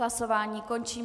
Hlasování končím.